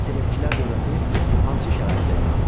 Selevkilər dövləti hansı şəraitdə yarandı?